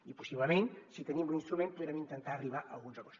i possiblement si tenim l’instrument podrem intentar arribar a alguns acords